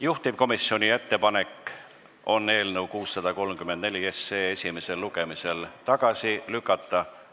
Juhtivkomisjoni ettepanek on eelnõu 634 esimesel lugemisel tagasi lükata.